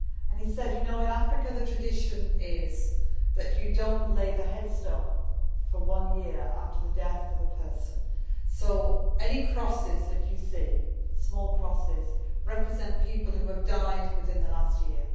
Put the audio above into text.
He said that in Africa, the tradition is that you do not lay the headstone for one year after the death of a person, so any crosses that you see, small crosses, represent people who have died within the last year.